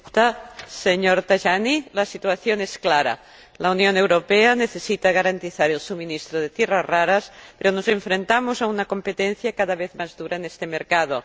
Señora Presidenta, señor Tajani, la situación es clara la Unión Europea necesita garantizar el suministro de tierras raras, pero nos enfrentamos a una competencia cada vez más dura en este mercado.